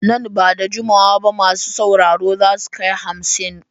Nan ba da jimawa ba masu sauraro za su kai hamsin.